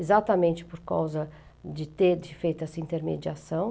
exatamente por causa de ter de feito dessa intermediação.